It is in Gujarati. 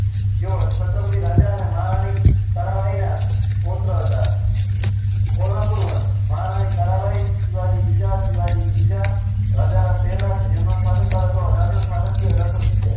શત્રપતી રાજા અને મહારાણી તારાબાઈ ના પોત્ર હતા કોલાપુર વંશ રાની તારાબાઈ શિવાજી બીજા શિવાજી ત્રીજા રાજારામ પહેલા જેમનો શાસન કાળ હતો અઢારસો છાસઠ થી અઢારસો સીતેર